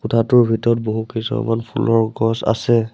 কোঠাটোৰ ভিতৰত বহুকেইজোপামান ফুলৰ গছ আছে।